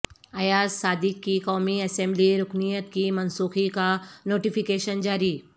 ایاز صادق کی قومی اسمبلی رکنیت کی منسوخی کا نوٹیفیکیشن جاری